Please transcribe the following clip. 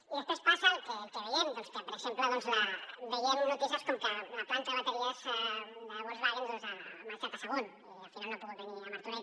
i després passa el que veiem doncs que per exemple veiem notícies com que la planta de bateries de volkswagen ha marxat a sagunt i al final no ha pogut venir a martorell